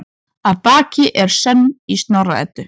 Að baki er sögn í Snorra-Eddu